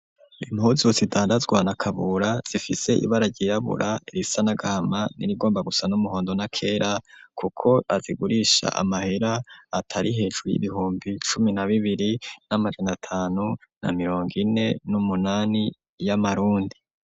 Impuzu zidandazwa na Kabura, zifise ibara ryirabura, irisa n'agahama n'irigomba gusa n'umuhondo, n’akera, kuko azigurisha amahera atari hejuru y'ibihumbi cumi na bibiri n'amajana atanu na mirongo ine n'umunani y'amarundi.